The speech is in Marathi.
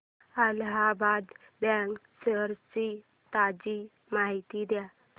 अलाहाबाद बँक शेअर्स ची ताजी माहिती दे